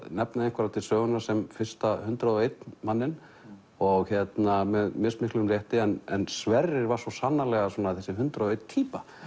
nefna einhverja til sögunnar sem fyrsta hundrað og einn manninn með mismiklum rétti en Sverrir var svo sannarlega þessi hundrað og ein týpa